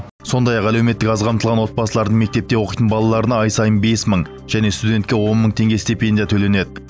сондай ақ әлеуметтік аз қамтылған отбасылардың мектепте оқитын балаларына ай сайын бес мың және студентке он мың теңге стипендия төленеді